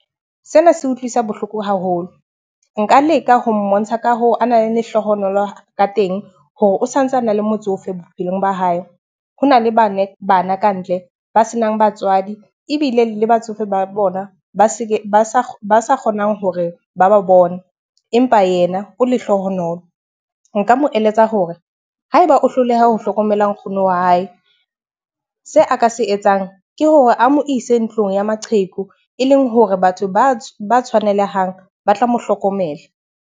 Sena se utlwisa bohloko haholo. Nka leka ho mmontsha ka hoo, ana le lehlohonolo ka teng hore o sa ntse ana le motsofe bophelong ba hae. Ho na le bana kantle ba senang batswadi ebile le batsofe ba bona ba sa kgonang hore ba ba bone, empa yena o lehlohonolo. Nka mo eletsa hore ha eba o hloleha ho hlokomela nkgono wa hae, se a ka se etsang ke hore a mo ise ntlong ya maqheku e leng hore batho ba tshwanelehang ba tla mo hlokomela.